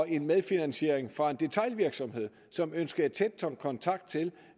en medfinansiering fra en detailvirksomhed som ønskede tæt kontakt til